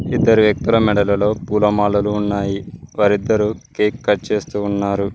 ఇద్దరు వ్యక్తుల మెడలలో పూలమాలలు ఉన్నాయి వారిద్దరు కేక్ కట్ చేస్తూ ఉన్నారు.